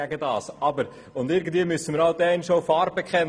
Irgendwann einmal müssen wir Farbe bekennen.